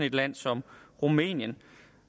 et land som rumænien